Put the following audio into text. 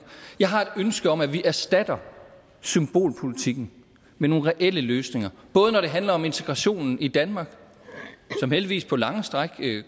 jeg har et ønske om at vi erstatter symbolpolitikken med nogle reelle løsninger både når det handler om integrationen i danmark som heldigvis på lange stræk